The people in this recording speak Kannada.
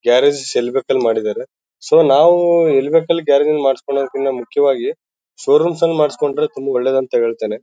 ಗ್ಯಾರೇಜು ಸ್ ಎಲ್ಲಿ ಬೇಕಲ್ಲಿ ಮಾಡಿದ್ದಾರೆ ಸೊ ನಾವು ಎಲ್ಲಿ ಬೇಕಲ್ಲಿ ಗ್ಯಾರೇಜು ಲ್ಲಿ ಮಾಡ್ಸೋಕ್ಕಿಂತ ಮುಖ್ಯವಾಗಿ ಷೋ ರೂಮ್ ಲಿ ಮಾಡಿಸ್ಕೊಂಡ್ರೆ ತುಂಬಾ ಒಳ್ಳೇದು ಅಂತ ಹೇಳ್ತೇನೆ.